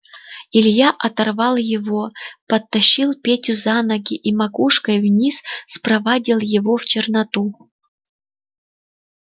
илья оторвал его подтащил петю за ноги и макушкой вниз спровадил его в черноту